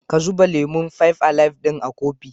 Ka zuba lemon "Five alive" ɗin a kofi